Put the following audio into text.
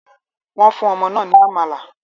Wọ́n fún ọmọ náà ní amala.